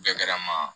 Bɛɛ kɛra n ma